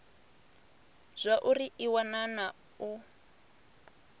zwauri i wana na u